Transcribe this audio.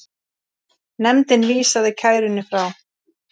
Nefndin vísaði kærunni frá.